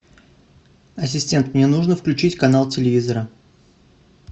ассистент мне нужно включить канал телевизора